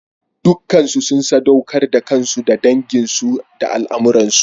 Dukansu sun saɗaukar da kansu ga danginsu da al'ummarsu.